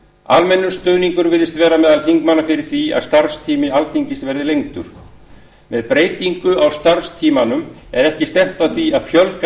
almennur stuðningur virðist vera meðal þingmanna fyrir því að starfstími alþingis verði lengdur með breytingu á starfstímanum er ekki stefnt að því að fjölga